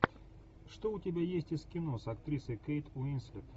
что у тебя есть из кино с актрисой кейт уинслет